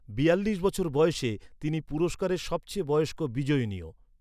বিয়াল্লিশ বছর বয়সে, তিনি পুরস্কারের সবচেয়ে বয়স্ক বিজয়িনীও।